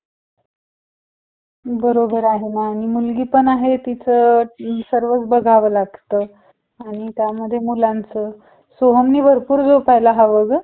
बरोबर आहे मम् मुलगीपण आहे तिच सर्वच बघाव लागत आणि त्यामध्ये मुलाचा सोहम ने भरपूर झोपयला हव ग